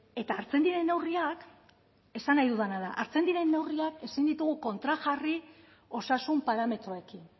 eta hartzen diren neurriak esan nahi dudana da hartzen diren neurriak ezin ditugu kontrajarri osasun parametroekin